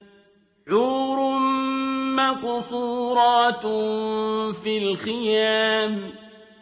حُورٌ مَّقْصُورَاتٌ فِي الْخِيَامِ